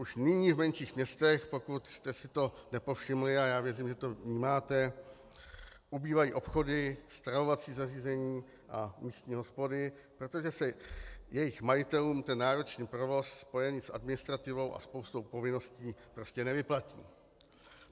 Už nyní v menších městech, pokud jste si toho nepovšimli, a já věřím, že to vnímáte, ubývají obchody, stravovací zařízení a místní hospody, protože se jejich majitelům ten náročný provoz spojený s administrativou a spoustou povinností vlastně nevyplatí.